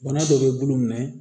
Bana dɔ bɛ bolo